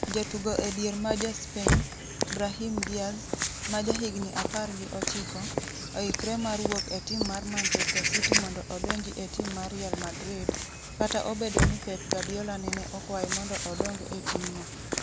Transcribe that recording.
Jatugo edier ma ja Spain, Brahim Diaz, ma jahigni 19, oikre mar wuok e tim mar Manchester City mondo odonji e tim mar Real Madrid, kata obedo ni Pep Guardiola nene okwaye mondo odong e timno.